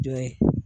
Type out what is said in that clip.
Jɔ ye